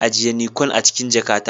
ajiye Nikon a cikin jakata.